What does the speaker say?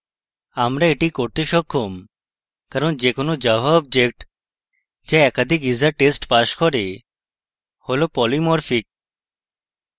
আমরা এটি করতে সক্ষম কারণ যে কোনো java object যা একাধিক isa test pass করে হল polymorphic